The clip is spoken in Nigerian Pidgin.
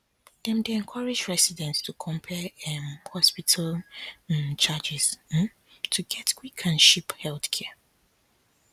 dem dey encourage residents to compare um hospital um charges um to get quick and cheap healthcare